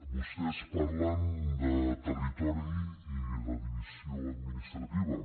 vostès parlen de territori i de divisió administrativa